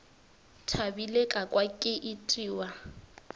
thabile ka kwa ke itiwa